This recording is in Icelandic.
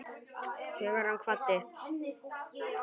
Þegar hann kvaddi